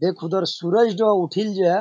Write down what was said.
देख उधर सूरजडा उठिल जा।